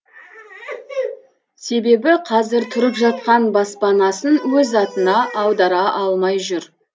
себебі қазір тұрып жатқан баспанасын өз атына аудара алмай жүр